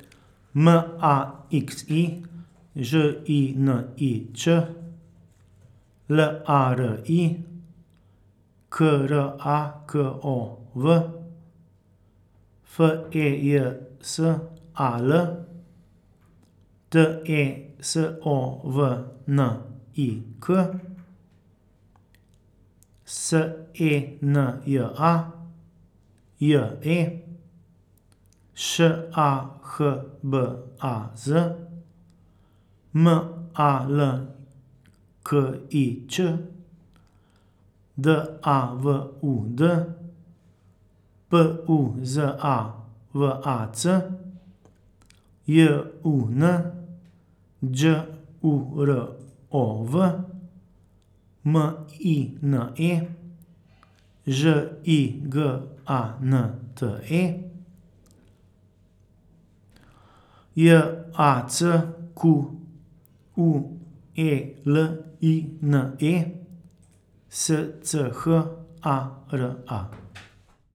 M A X I, Ž I N I Č; L A R I, K R A K O W; F E J S A L, T E S O V N I K; S E N J A, J E; Š A H B A Z, M A L K I Ć; D A V U D, P U Z A V A C; J U N, Đ U R O V; M I N E, Ž I G A N T E; J A C Q U E L I N E, S C H A R A.